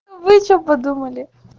а вы что подумали